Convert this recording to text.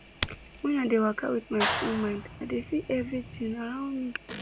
when i dey waka with my full mind i dey feel everitin around me